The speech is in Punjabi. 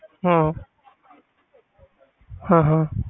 ਹਾਂ ਹਾਂ ਹਾਂ